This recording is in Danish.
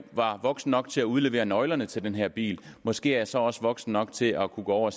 var voksen nok til at udlevere nøglerne til den her bil måske er jeg så også voksen nok til at kunne gå over